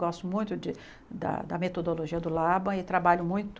Gosto muito de da metodologia do Laban e trabalho muito